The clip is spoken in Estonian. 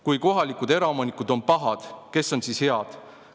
Kui kohalikud eraomanikud on pahad – kes on siis head?